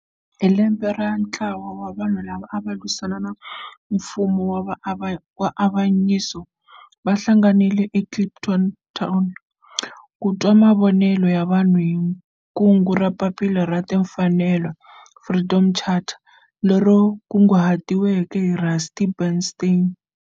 Hi 1955 ntlawa wa vanhu lava ava lwisana na nfumo wa avanyiso va hlanganile eKliptown ku twa mavonelo ya vanhu hi kungu ra Papila ra Timfanelo, Freedom Charter, leri kunguhatiweke hi Rusty Bernstein.